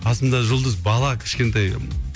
қасымда жұлдыз бала кішкентай